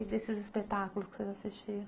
E desses espetáculos que vocês assistiram?